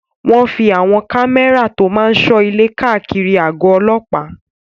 Wọ́n fí àwọn kámẹ́rà tó máa n sọ ilé káàkiri àgọ̀ ọlọ́pàá